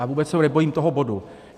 A vůbec se nebojím toho bodu.